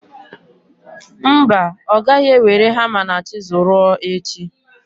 Mba, ọ gaghị ewere hama na chizul ruo echi.